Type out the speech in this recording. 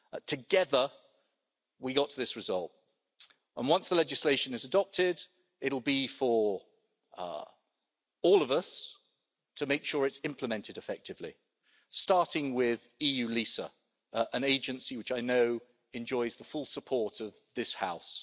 Together we got to this result and once the legislation is adopted it will be for all of us to make sure it's implemented effectively, starting with eu LISA, an agency which I know enjoys the full support of this House.